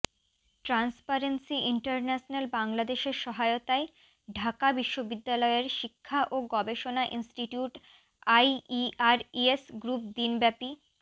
transparency international বাংলাদেশের সহায়তায় ঢাকা বিশ্ববিদ্যালয়ের শিক্ষা ও গবেষণা ইনস্টিটিউট আইইআর ইয়েস গ্রুপ দিনব্যাপী